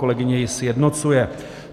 Kolegyně ji sjednocuje.